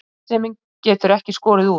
Skynsemin getur ekki skorið úr.